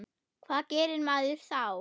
Hvað gerir maður þá?